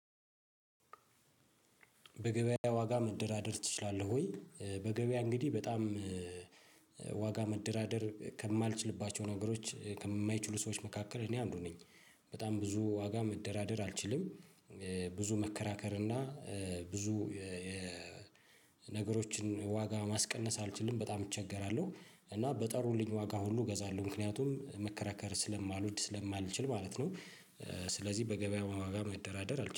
በገበያ ዋጋ መደራደር ትችላለህ ወይ? በገበያ እንግዲህ በጣም ዋጋ መደራደር ከማልችልባቸው ነገሮች ከማይችሉ ሰዎች መካከል እኔ አንዱ ነኝ። በጣም ብዙ ዋጋ መደራደር አልችልም። ብዙ መከራከር እና ብዙ ነገሮችን ዋጋ ማስቀነስ አልችልም በጣም እቸገራለሁ። እና በጠሩልኝ ዋጋ ሁሉ እገዛለሁ ምክንያቱም መከራከር ስለማልወድ ስለማልችል ማለት ነው። ስለዚህ በገበያ ዋጋ መደራደር አልችልም